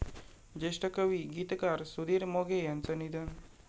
ज्येष्ठ कवी, गीतकार सुधीर मोघे यांचं निधन